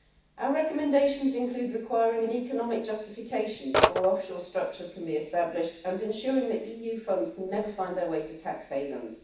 Our recommendations include requiring an economic justification before offshore structures can be established and ensuring that EU funds can never find their way to tax havens.